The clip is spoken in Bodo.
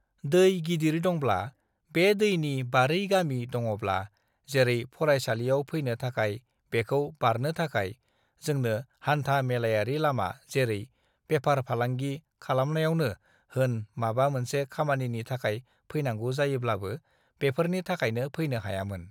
दै गिदिर दंब्ला बे दैनि बारै गामि दङब्ला जेरै फरायसालियाव फैनाै थाखाय बेखाै बारनाे थाखाय जोंनो हान्था-मेलायारि लामा जेरै बेफार फालांगि खालामनायावनो होन माबा मोनसे खामानिनि थाखाय फैनांगौ जायोब्लाबो बेफोरनि थाखायनो फैनाे हायामोन।